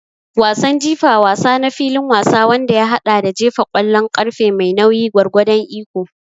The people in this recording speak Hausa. Wasan jifa wasa na filin wasa wanda ya haɗa da jefa ƙwallon ƙarfe mai nauyi gwargwadon iko.